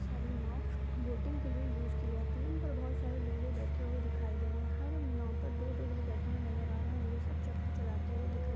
बोहोत सारी नाव बोटिंग के लिए यूस की जाती हैं। इन पर बोहोत सारे लोग बैठे हुए दिखाए दे रहे हैं। हर नाव पर दो-दो लोग बैठे हुए नज़र आ रहे हैं और यह सब चप्पू चलते हुए दिख रहे --